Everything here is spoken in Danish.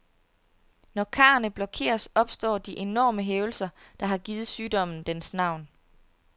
Når karrene blokeres, opstår de enorme hævelser, der har givet sygdommen dens navn.